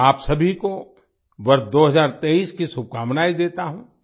मैं आप सभी को वर्ष 2023 की शुभकामनायें देता हूँ